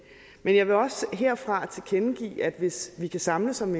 men jeg vil også herfra tilkendegive at hvis vi kan samles om